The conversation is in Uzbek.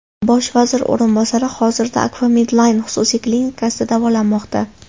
Bosh vazir o‘rinbosari hozirda Akfa Medline xususiy klinikasida davolanmoqda.